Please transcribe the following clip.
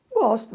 Gosto